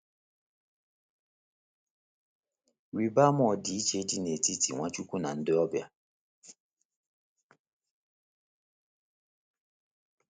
Rịba ama ọdịiche dị n'etiti Nwachukwu na ndị ọbịa.